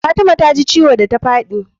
Fatima ta ji ciwo da ta fadi